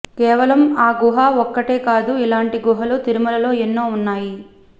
కేవలం ఆ గుహ ఒక్కటే కాదు ఇలాంటి గుహలు తిరుమలలో ఎన్నో ఉన్నాయి